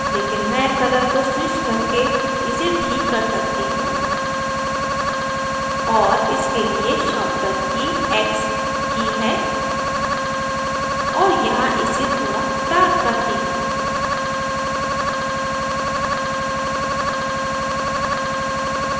लेकिन मैं colour को स्विच करके इसे ठीक कर सकती हूँ और इसके लिए shortcut की x की है और यहाँ इसे थोड़ा darker करती हूँ